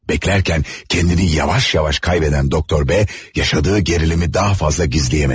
Beklerken kendini yavaş yavaş kaybeden Doktor B yaşadığı gerilimi daha fazla gizleyemedi.